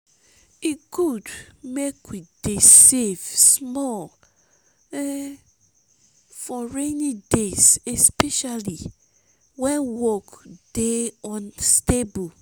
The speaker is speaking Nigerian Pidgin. e good make we dey save small for rainy days especially wen work dey unstable.